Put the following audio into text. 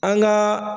An gaa